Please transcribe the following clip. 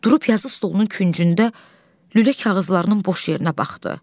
Durub yazı stolunun küncündə lülə kağızlarının boş yerinə baxdı.